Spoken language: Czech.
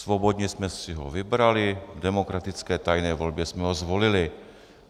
Svobodně jsme si ho vybrali, v demokratické tajné volbě jsme ho zvolili.